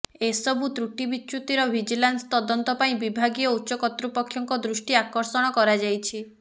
ଏସବୁ ତ୍ରୁଟି ବିଚୁ୍ୟତିର ଭିଜିଲାନ୍ସ ତଦନ୍ତ ପାଇଁ ବିଭାଗୀୟ ଉଚ୍ଚ କର୍ତ୍ତୃପକ୍ଷଙ୍କ ଦୃଷ୍ଟି ଆକର୍ଷଣ କରାଯାଇଛି